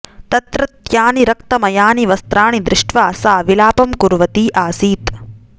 तत्रत्यानि रक्तमयानि वस्त्राणि दृष्ट्वा सा विलापं कुर्वती आसीत्